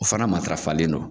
O fana matarafalen don